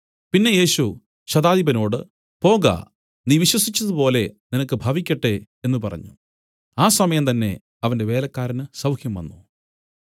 പിന്നെ യേശു ശതാധിപനോട് പോക നീ വിശ്വസിച്ചതുപോലെ നിനക്ക് ഭവിക്കട്ടെ എന്നു പറഞ്ഞു ആ സമയം തന്നേ അവന്റെ വേലക്കാരന് സൌഖ്യംവന്നു